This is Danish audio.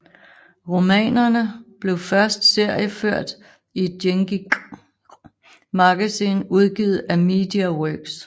Romanerne blev forst seriefort i Dengeki hp magazine udgivet af MediaWorks